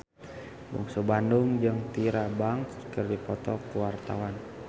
Bungsu Bandung jeung Tyra Banks keur dipoto ku wartawan